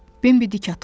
Bimbi dik atıldı.